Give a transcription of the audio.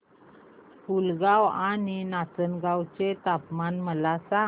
पुलगांव आणि नाचनगांव चे तापमान मला सांग